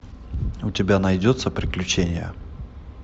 у тебя найдется приключения